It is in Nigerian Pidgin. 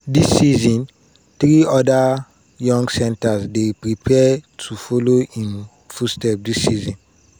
dis season three oda young centres dey prepare to follow im footsteps dis season.